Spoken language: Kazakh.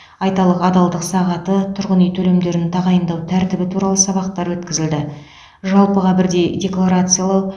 айталық адалдық сағаты тұрғын үй төлемдерін тағайындау тәртібі туралы сабақтар өткізілді жалпыға бірдей декларациялау